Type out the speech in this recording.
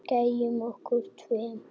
Gæjunum okkar tveim.